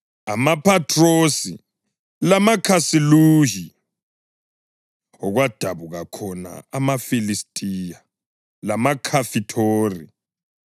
amaPhathrosi lamaKhasiluhi (okwadabuka khona amaFilistiya) lamaKhafithori.